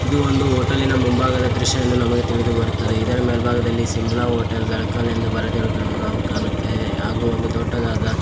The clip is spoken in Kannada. ಇದು ಒಂದು ಹೋಟೆಲ್ಲಿನ ಮುಂಭಾಗದ ದೃಶ್ಯವೆಂದು ನಮಗೆ ತಿಳಿದುಬರುತ್ತದೆ ಇದರ ಮೇಲ್ಭಾಗದಲ್ಲಿ ಸಿಮ್ಲಾ ಹೋಟೆಲ್ ತಲಕಾಲ್ ಎಂದು ಬರೆದಿರುವುದನ್ನು ನಾವು ಕಾಣುತ್ತೇವೆ ಹಾಗು ಒಂದು ದೊಡ್ಡದಾದ--